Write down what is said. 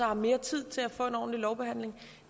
har mere tid til at få en ordentlig lovbehandling